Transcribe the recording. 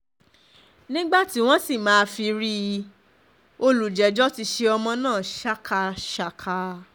nígbà tí wọ́n sì máa fi rí i olùjẹ́jọ́ ti ṣe ọmọ náà ṣákaṣàkà